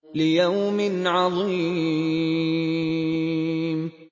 لِيَوْمٍ عَظِيمٍ